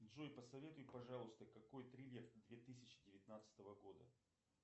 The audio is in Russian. джой посоветуй пожалуйста какой триллер две тысячи девятнадцатого года